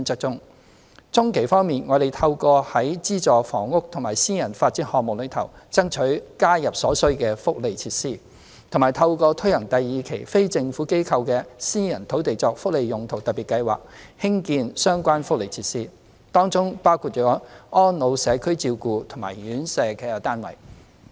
中期方面，我們透過在資助房屋及私人發展項目中，爭取加入所需福利設施，以及透過推行第二期非政府機構的"私人土地作福利用途特別計劃"，興建相關福利設施，當中包括安老社區照顧及院舍服務的單位。